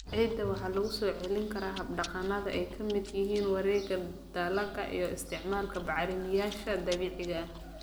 Ciidda waxa lagu soo celin karaa hab-dhaqannada ay ka midka yihiin wareegga dalagga iyo isticmaalka bacrimiyeyaasha dabiiciga ah.